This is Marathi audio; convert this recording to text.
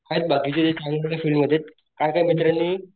आहेत बाकीचे चांगल्या फिल्ड मध्ये आहेत काय काय मित्रांनी,